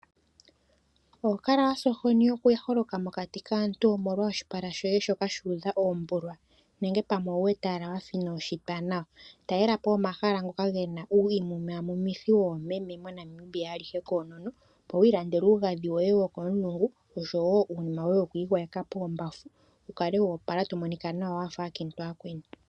Ohokala wasa ohoni okuholoka mokati kaantu omolwa oshipala shoye shoka shu udha ombulwa nenge owu wete wafa ino inoshitwa nawa. Talela po omahala ngoka gena uumumamumitho womeme moNamibia alihe konono opo wilandele uugadhi woye wokomulungu nosho woo uunima woye wokwigwayeka kombafu wukale wo opala tomonika nawa wafa aakiintu oyakweni.